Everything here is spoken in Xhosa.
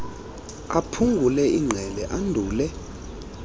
aphungule ingqele andule